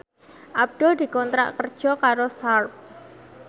Abdul dikontrak kerja karo Sharp